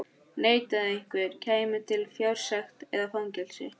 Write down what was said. Neitaði einhver, kæmi til fjársekt eða fangelsi.